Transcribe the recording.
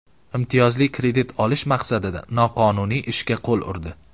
imtiyozli kredit olish maqsadida noqonuniy ishga qo‘l o‘rdi.